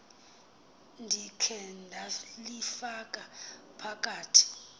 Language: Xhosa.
ndikhe ndalifaka phakathi